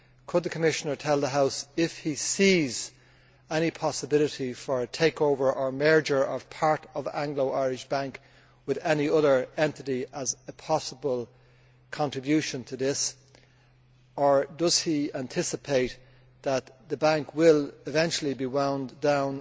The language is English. Could the Commissioner tell the House if he sees any possibility for a takeover or merger of part of Anglo Irish Bank with any other entity as a possible contribution to this, or does he anticipate that the bank will eventually be wound down?